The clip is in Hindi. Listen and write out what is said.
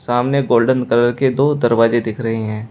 सामने गोल्डन कलर के दो दरवाजे दिख रहे हैं।